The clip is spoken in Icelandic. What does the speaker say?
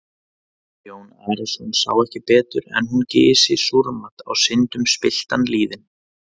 Jón Arason sá ekki betur en hún gysi súrmat á syndum spilltan lýðinn.